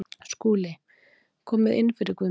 SKÚLI: Komið inn fyrir, Guðmundur.